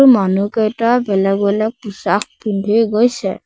মানুহকেইটা বেলেগ বেলেগ টি-চাৰ্ট পিন্ধি গৈছে।